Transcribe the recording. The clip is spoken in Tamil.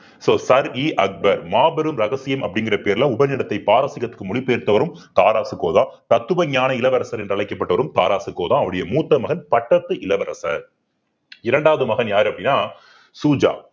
so சர் இ அக்பர் மாபெரும் ரகசியம் அப்படிங்கிற பேர்ல உபநிடத்தை பாரசீகத்தக்கு மொழி பெயர்த்தவரும் தாராசுகோதான் தத்துவஞான இளவரசர் என்று அழைக்கப்பட்டவரும் தாராசுகோதான் அவருடைய மூத்த மகன் பட்டத்து இளவரசர் இரண்டாவது மகன் யாரு அப்படின்னா சூஜா